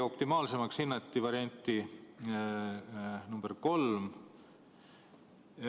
Optimaalseks hinnati varianti nr 3.